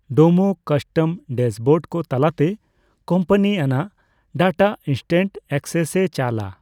Domo custom dashboard ᱠᱚ ᱛᱟᱞᱟᱛᱮ ᱠᱳᱢᱯᱟᱱᱤᱼᱟᱱᱟᱜ ᱰᱟᱴᱟ ᱤᱱᱥᱴᱮᱱᱴ ᱮᱠᱥᱮᱥᱼᱮ ᱪᱟᱞᱟ ᱾